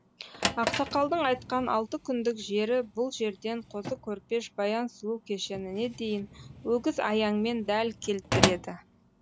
ақсақалдың айтқан алты күндік жері бұл жерден қозы көрпеш баян сұлу кешеніне дейін өгіз аяңмен дәл келтіреді